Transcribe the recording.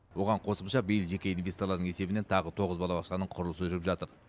оған қосымша биыл жеке инвесторлардың есебінен тағы тоғыз балабақшаның құрылысы жүріп жатыр